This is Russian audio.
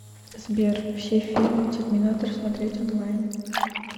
сбер все фильмы терминатор смотреть онлайн